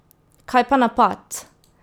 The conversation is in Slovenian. Kaj pa napad?